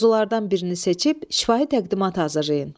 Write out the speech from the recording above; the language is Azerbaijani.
Mövzulardan birini seçib şifahi təqdimat hazırlayın.